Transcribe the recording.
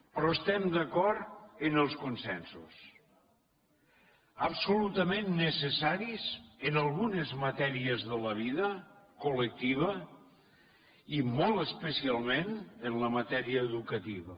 però estem d’acord amb els consensos absolutament necessaris en algunes matèries de la vida col·lectiva i molt especialment en la matèria educativa